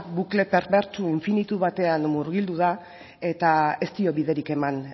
bukle perbertsu infinitu batean murgildu da eta ez dio biderik eman